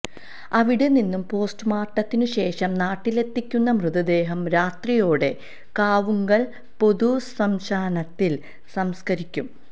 അവിടെ നിന്നും പോസ്ററുമോർട്ടത്തിനു ശേഷം നാട്ടിലെത്തിക്കുന്ന മൃതദേഹം രാത്രിയോടെ കാവുങ്കൽ പൊതു സ്മശാനത്തിൽ സംസ്ക്കരിക്കും